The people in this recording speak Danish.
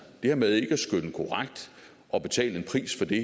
det her med ikke at skønne korrekt og betale en pris for det